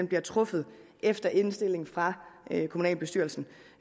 bliver truffet efter indstilling fra kommunalbestyrelsen